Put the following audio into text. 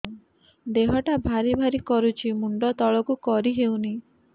ଦେହଟା ଭାରି ଭାରି କରୁଛି ମୁଣ୍ଡ ତଳକୁ କରି ହେଉନି